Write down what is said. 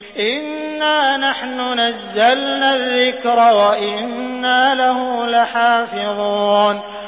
إِنَّا نَحْنُ نَزَّلْنَا الذِّكْرَ وَإِنَّا لَهُ لَحَافِظُونَ